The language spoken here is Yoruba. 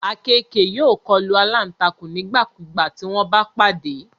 Àkekèé yóò kọlu alántakùn nígbàkigbà tí wọ́n bá pàdé